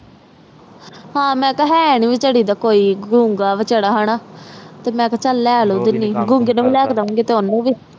ਹਨ ਮੈਂ ਕਿਹਾ ਹਨ ਨੀ ਕੋਈ ਬਚਾਰੀ ਦਾ ਗੂੰਗਾ ਬਚਾਰਿਆ ਗੂੰਗੇ ਨੂੰ ਵੀ ਲੈ ਕੇ ਡੂੰਗੀ ਤੇ ਓਹਨੂੰ ਵੀ